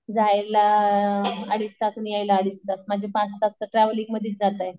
जायला अडीच तास आणि यायला अडीच तास म्हणजे पाच तास तर ट्रॅव्हलिंग मध्येच जातायेत.